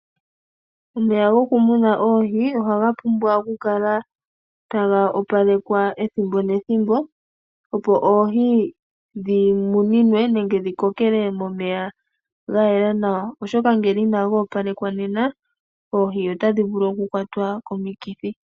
Omeya goku muna oohi ohaga pumbwa okukala taga opalekwa ethimbo nethimbo opo oohi dhi kokele momeya ga yela nawa oshoka ngele inago opalekwa nena oohi otadhi vulu oku kwatwa komi kithi.